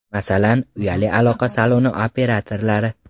Masalan, uyali aloqa saloni operatorlari.